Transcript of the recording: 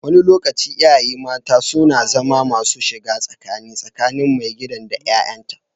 Wani lokaci, iyaye mata suna zama masu shiga tsakani tsakanin maigidan da 'ya'yanta.